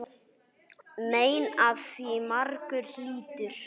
Mein af því margur hlýtur.